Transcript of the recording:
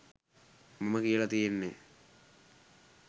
මම කියල තියෙන්නේ